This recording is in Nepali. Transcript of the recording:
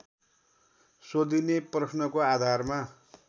सोधिने प्रश्नको आधारमा